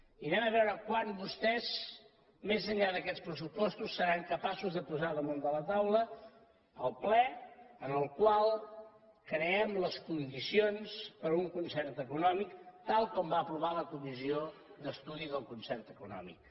i vegem quan vostès més enllà d’aquests pressupostos seran capaços de posar damunt de la taula el ple en el qual creem les condicions per a un concert econòmic tal com va aprovar la comissió d’estudi del concert econòmic